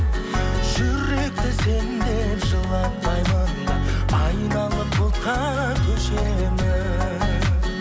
жүректі сен деп жылатпаймын да айналып бұлтқа көшемін